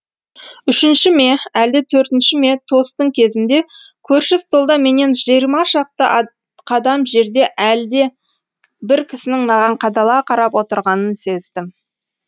үшінші ме әлде төртінші ме тосттың кезінде көрші столда менен жиырма шақты қадам жерде әлде бір кісінің маған қадала қарап отырғанын сездім